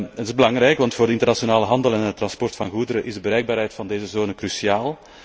Dat is belangrijk, want voor de internationale handel en het transport van goederen is de bereikbaarheid van deze zone cruciaal.